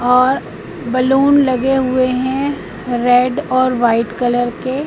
और बलून लगे हुए है रेड और व्हाइट कलर के।